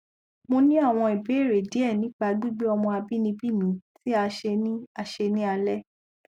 mo ni awọn ibeere diẹ nipa gbigbe ọmọ abinibi mi ti a ṣe ni a ṣe ni alẹ